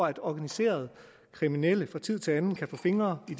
at organiseret kriminelle fra tid til anden kan få fingre i